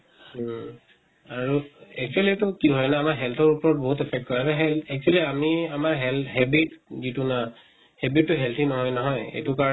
হম, আৰু actually তো কি হয় না আমাৰ health ৰ ওপৰত বহুত affect কৰে আৰু সেই actually আমি আমাৰ health habit যিটো না habit তো healthy নহয় নহয় সেইটো কাৰণে